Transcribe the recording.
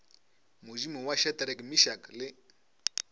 modimo wa shadrack meshack le